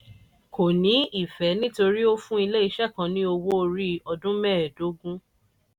kò ní ìfẹ́ nítorí ó fún ilé-iṣẹ́ kan ní owó orí ọdún mẹẹdógún.